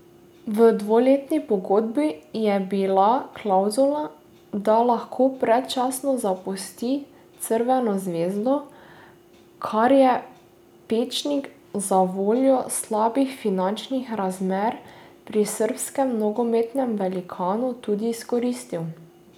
V dvoletni pogodbi je bila klavzula, da lahko predčasno zapusti Crveno zvezdo, kar je Pečnik zavoljo slabih finančnih razmer pri srbskem nogometnem velikanu tudi izkoristil.